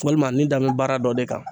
Walima nin da n bɛ baara dɔ de kan